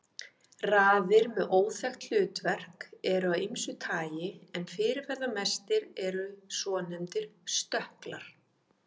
Raðir með óþekkt hlutverk eru af ýmsu tagi en fyrirferðamestir eru svonefndir stökklar.